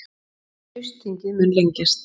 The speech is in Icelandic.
Haustþingið mun lengjast